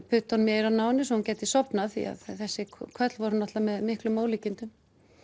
puttunum í eyrun á henni svo hún gæti sofnað því þessi köll voru náttúrulega með miklum ólíkindum